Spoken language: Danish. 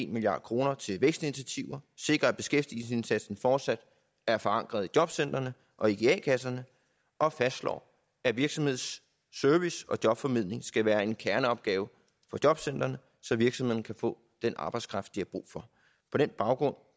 milliard kroner til vækstinitiativer sikrer at beskæftigelsesindsatsen fortsat er forankret i jobcentrene og ikke i a kasserne og fastslår at virksomhedsservice og jobformidling skal være en kerneopgave for jobcentrene så virksomhederne kan få den arbejdskraft de har brug for på den baggrund